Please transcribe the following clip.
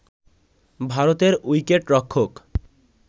ভারতের উইকেটরক্ষক